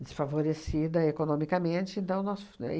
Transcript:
desfavorecida economicamente, então nós f